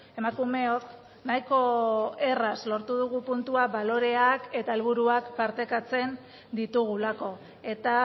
emakumeok nahiko erraz lortu dugu puntua baloreak eta helburuak partekatzen ditugulako eta